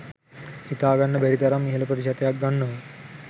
හිතාගන්න බැරි තරම් ඉහළ ප්‍රතිශතයක් ගන්නවා